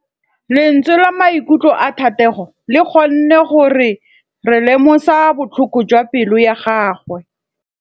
Lentswe la maikutlo a Thategô le kgonne gore re lemosa botlhoko jwa pelô ya gagwe.